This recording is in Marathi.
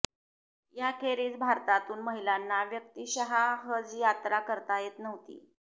याखेरीज भारतातून महिलांना व्यक्तीशः हज यात्रा करता येत नव्हती